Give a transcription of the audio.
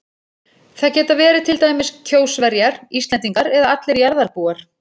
Það geta verið til dæmis Kjósverjar, Íslendingar eða allir jarðarbúar.